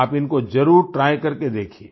आप इनको ज़रूर ट्राय करके देखिए